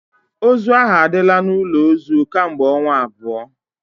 Ozu ahụ adịla n'ụlọ ozu kemgbe ọnwa abụọ